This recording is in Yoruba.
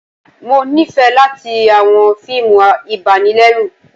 Mo nifẹ latí awọn fiimú ibànilẹrù